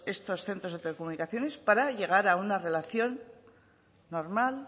estos centros de telecomunicaciones para llegar a una buena relación normal